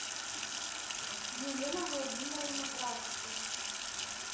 елена владимировна градусова